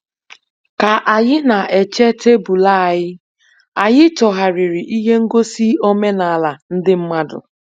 Ka anyị na-eche tebụl anyị, anyị chọgharịrị ihe ngosi omenala ndị mmadụ.